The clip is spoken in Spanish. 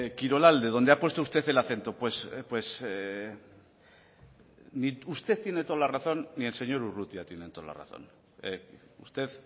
kirolalde donde ha puesto usted el acento pues ni usted tiene toda la razón ni el señor urrutia tiene toda la razón usted